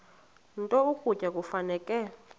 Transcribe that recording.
nto ukutya kufuneka